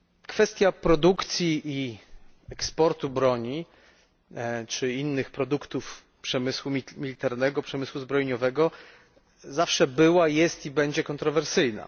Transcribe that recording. Kwestia produkcji i eksportu broni, czy innych produktów przemysłu militarnego, przemysłu zbrojeniowego zawsze była, jest i będzie kontrowersyjna.